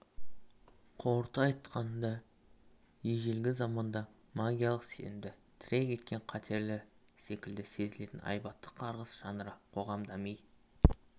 қорыта айтқанда ежелгі заманда магиялық сенімді тірек еткен қатерлі секілді сезілетін айбатты қарғыс жанры қоғам дами